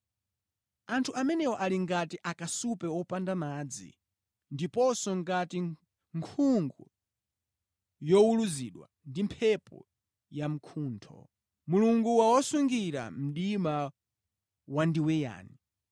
Anthu amenewa ali ngati akasupe wopanda madzi, ndiponso ngati nkhungu yowuluzidwa ndi mphepo yamkuntho. Mulungu wawasungira mdima wandiweyani.